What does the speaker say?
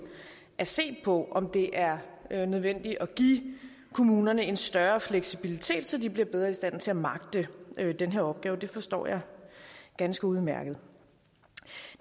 at se på om det er er nødvendigt at give kommunerne en større fleksibilitet så de bliver bedre i stand til at magte den her opgave det forstår jeg ganske udmærket